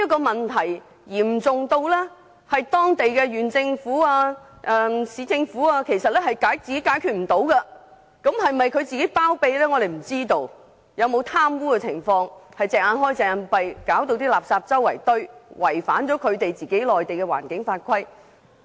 問題已嚴重至當地的縣政府、市政府無法解決，不知道當中是否涉及包庇、貪污，以致當地政府"睜一隻眼閉一隻眼"，令垃圾四處堆積，違反內地的環境法規。